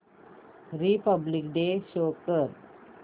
Republic day show कर